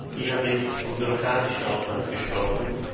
Sie haben jetzt vom bürokratischen Aufwand gesprochen.